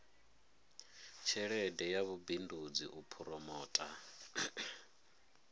tshelede ya vhubindudzi u phoromotha